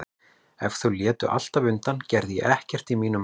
Ef þau létu alltaf undan gerði ég ekkert í mínum málum.